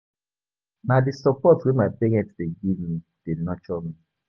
Na di support wey my parents dey give me dey nurture me.